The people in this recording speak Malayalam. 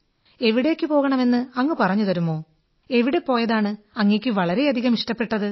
എവിടേക്കു പോകണമെന്ന് അങ്ങ് പറഞ്ഞു തരുമോ എവിടെ പോയതാണ് അങ്ങയ്ക്ക് വളരെയധികം ഇഷ്ടപ്പെട്ടത്